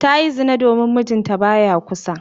Ta yi zina domin mijinta ba ya kusa.